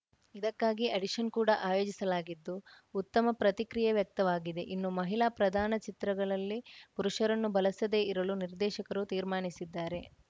ಇದಕ್ಕಾಗಿ ಆಡಿಷನ್‌ ಕೂಡ ಆಯೋಜಿಸಲಾಗಿದ್ದು ಉತ್ತಮ ಪ್ರತಿಕ್ರಿಯೆ ವ್ಯಕ್ತವಾಗಿದೆ ಇನ್ನು ಮಹಿಳಾ ಪ್ರಧಾನ ಚಿತ್ರಗಳಲ್ಲಿ ಪುರುಷರನ್ನು ಬಳಸದೇ ಇರಲು ನಿರ್ದೇಶಕರು ತೀರ್ಮಾನಿಸಿದ್ದಾರೆ